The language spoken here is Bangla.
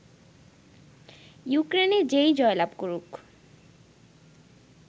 ইউক্রেনে যেই জয়লাভ করুক